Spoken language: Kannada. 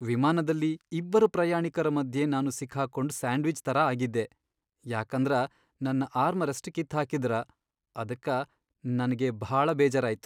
ವಿಮಾನದಲ್ಲಿ ಇಬ್ಬರ್ ಪ್ರಯಾಣಿಕರ ಮಧ್ಯೆ ನಾನು ಸಿಕ್ ಹಾಕೊಂಡ್ ಸ್ಯಾಂಡ್ವಿಚ್ ತರ ಆಗಿದ್ದೆ ಯಾಕಂದರ ನನ್ನ ಆರ್ಮರೆಸ್ಟ್ ಕಿತ್ ಹಾಕಿದ್ದರ ಅದಕ್ಕ ನನಗೆ ಬಾಳ ಬೇಜಾರಾಯ್ತು.